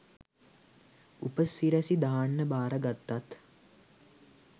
උපසිරැසි දාන්න බාරගත්තත්